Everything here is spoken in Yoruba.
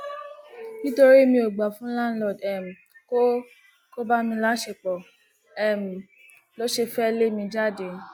nítorí mi ò gbà fún láńlọọdù um kó kó bá mi láṣẹpọ um ló ṣe fẹẹ lé mi jáde